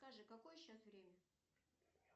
скажи какое сейчас время